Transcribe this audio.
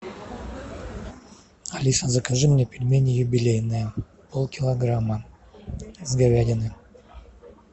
алиса закажи мне пельмени юбилейные пол килограмма с говядиной